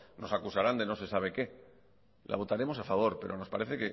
nos acusarán de no sé sabe qué la votaremos a favor pero nos parece